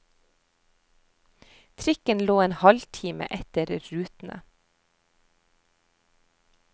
Trikken lå en halvtime etter rutene.